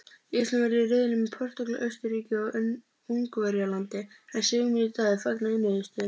Ísland verður í riðli með Portúgal, Austurríki og Ungverjalandi en Sigmundur Davíð fagnar niðurstöðunni.